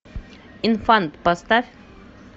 инфант поставь